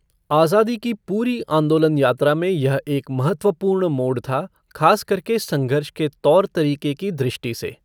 आज़ादी की पूरी आंदोलन यात्रा में यह एक महत्वपूर्ण मोड़ था, ख़ास करके संघर्ष के तौर तरीके की दृष्टि से।